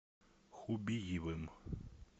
хубиевым